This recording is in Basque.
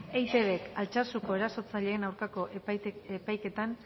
eitbk altsasuko erasotzaileen aurkako epaiketan